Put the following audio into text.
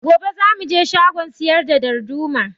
Gobe za mu je shagon siyar da darduma